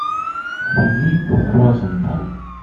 филип розенталь